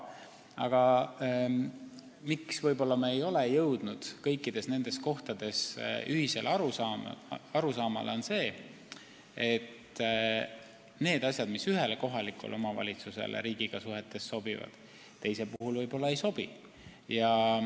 Aga põhjus, miks me ei ole kõikides nendes kohtades ühisele arusaamale jõudnud, on see, et need asjad, mis ühele kohalikule omavalitsusele riigiga suhetes sobivad, teisele võib-olla ei sobi.